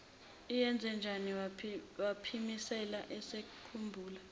iyenzenjani waphimisela esekhumbula